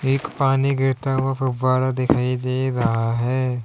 एक पानी गिरता हुआ फव्वारा दिखाई दे रहा है।